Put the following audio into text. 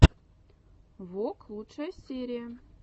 вок лучшая серия